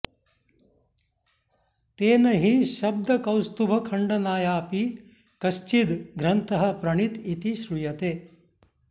तेन हि शब्दकौस्तुभखण्डनायापि कश्चिद् ग्रन्थः प्रणीत इति श्रूयते